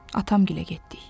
Atam gilə getdik.